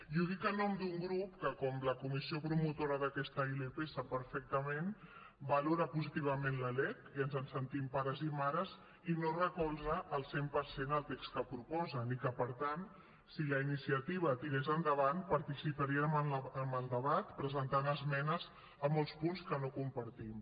i ho dic en nom d’un grup que com la comissió promotora d’aquesta ilp sap perfectament valora positivament la lec i ens en sentim pares i mares i no recolza al cent per cent el text que proposen i que per tant si la iniciativa tirés endavant participaríem en el debat presentant esmenes a molts punts que no compartim